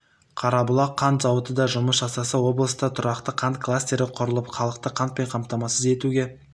қарабұлақ қант зауыты да жұмыс жасаса облыста тұрақты қант кластері құрылып халықты қантпен қаматамасыз етуге